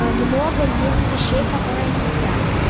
много есть вещей которые нельзя